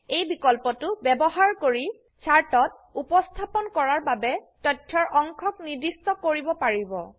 এই বিকল্পটো ব্যবহাৰ কৰি চাৰ্টত উপস্থাপন কৰাৰ বাবেতথ্যৰঅংশক নিৰ্দিষ্ট কৰিব পাৰিব